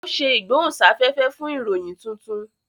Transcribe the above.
o ṣe igbohunsafẹfẹ fún ìròyìn títún